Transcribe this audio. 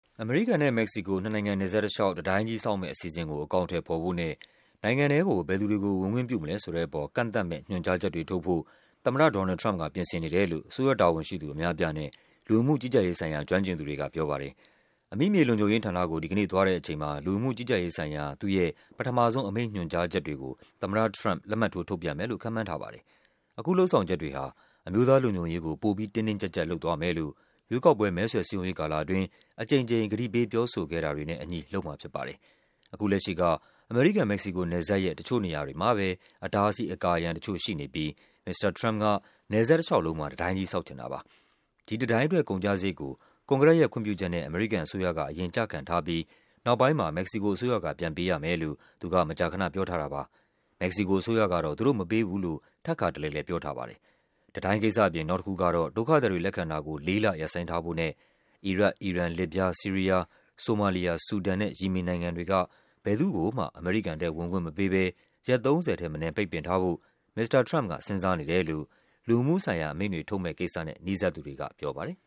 အမေရိကန်နဲ့ မက္ကဆီကိုနယ်စပ်တလျှောက် တံတိုင်းကြီးဆောက်မယ့် အစီအစဉ်ကို အကောင်အထည်ဖော်ဖို့နဲ့ နိုင်ငံထဲကို ဘယ်သူတွေကို ဝင်ခွင့်ပြုမလဲဆိုတဲ့အပေါ် ကန့််သတ်မယ့် ညွှန်ကြားချက်တွေထုတ်ဖို့ သမ္မတ Donald Trump က ပြင်ဆင်နေ တယ်လို့ အစိုးရတာဝန်ရှိသူ အများအပြားနဲ့ လူဝင်မှုကြီးကြပ်ရေးဆိုင်ရာ ကျွမ်းကျင်သူတွေက ပြောပါတယ်။ အမိမြေလုံခြုံရေးဌာနကို ဒီကနေ့သွားတဲ့အချိန်မှာ လူဝင်မှုကြီးကြပ်ရေးဆိုင်ရာ သူ့ရဲ့ ပထမဆုံး အမိန့်ညွှန်ကြားချက်တွေကို သမ္မတ Trump လက်မှတ်ထိုး ထုတ်ပြန်မယ် လို့ ခန့်မှန်းထားပါတယ်။ အခုလုပ်ဆောင်ချက်တွေဟာ အမျိုးသားလုံခြုံရေးကို ပိုပြီး တင်းတင်းကျပ်ကျပ် လုပ်သွားမယ်လို့ ရွေးကောက်ပွဲ မဲဆွယ်စည်းရုံးရေးကာလ အတွင်း အကြိမ်ကြိမ် ကတိပေးပြောဆိုခဲ့တာတွေနဲ့ အညီ လုပ်မှာဖြစ်ပါတယ်။ အခုလက်ရှိက အမေရိကန်-မက္ကဆီကို နယ်စပ်ရဲ့ တချို့နေရာတွေမှာပဲ အတားအဆီး အကာအရတချို့ရှိနေပြီး မစ္စတာ Trump က နယ်စပ်တလျှောက်လုံးမှာ တံတိုင်းကြီး ဆောက်ချင်တာပါ။ ဒီတံတိုင်းအတွက် ကုန်ကျစရိတ်ကို ကွန်ဂရက်ရဲ့ခွင့်ပြုချက်နဲ့ အမေရိကန်အစိုးရက အရင်ကျခံထားပြီး နောက်ပိုင်းမှာ မက္ကဆီကိုအစိုးရက ပြန်ပေးရမယ်လို့ သူက မကြာခန ပြောထားတာပါ။ မက္ကဆီကိုအစိုးရကတော့ သူတို့မပေးဘူးလို့ ထပ်ခါတလဲလဲ ပြောထားပါတယ်။ တံတိုင်းကိစ္စအပြင် နောက်တခုကတော့ ဒုက္ခသည်တွေလက်ခံတာကို လေးလ ရပ်ဆိုင်းထားဖို့နဲ့ အီရတ်၊ အီရန်၊ လစ်ဗျား၊ ဆီးရီး ယား၊ ဆိုမာလီယာ၊ ဆူဒန်နဲ့ ယီမင်နိုင်ငံတွေက ဘယ်သူ့ကိုမှ အမေရိကန်ထဲဝင်ခွင့်မပေးဘဲ ရက် ၃၀ ထက်မနည်း ပိတ်ပင်ထားဖို့ မစ္စတာ Trump က စဉ်းစားနေတယ်လို့ လူဝင်မှုဆိုင်ရာအမိန့်တွေထုတ်မယ့်ကိစ္စနဲ့ နီးစပ်သူတွေကပြောပါတယ်